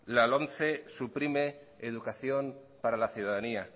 la lomce suprime educación para la ciudadanía